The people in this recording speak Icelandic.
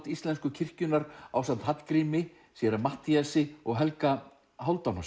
íslensku kirkjunnar ásamt Hallgrími séra Matthíasi og Helga